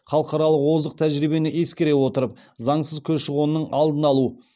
халықаралық озық тәжірибені ескере отырып заңсыз көші қонның алдын алу